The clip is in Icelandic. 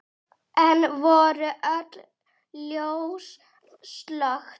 Enn voru öll ljós slökkt.